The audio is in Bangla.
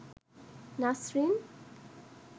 নাসরিন